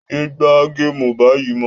Yé gbá géèmù báyìí mọ́